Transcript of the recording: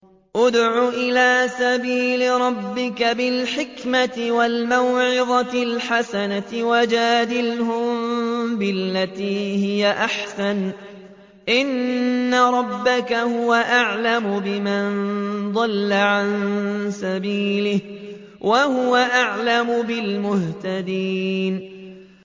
ادْعُ إِلَىٰ سَبِيلِ رَبِّكَ بِالْحِكْمَةِ وَالْمَوْعِظَةِ الْحَسَنَةِ ۖ وَجَادِلْهُم بِالَّتِي هِيَ أَحْسَنُ ۚ إِنَّ رَبَّكَ هُوَ أَعْلَمُ بِمَن ضَلَّ عَن سَبِيلِهِ ۖ وَهُوَ أَعْلَمُ بِالْمُهْتَدِينَ